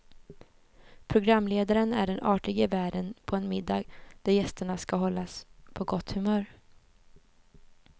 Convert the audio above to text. Programledaren är den artige värden på en middag där gästerna ska hållas på gott humör.